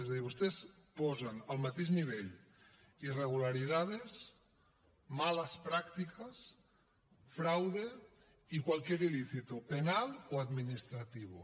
és a dir vostès posen al mateix nivell irregularidades malas prácticas fraude i cualquier ilícito penal o administrativo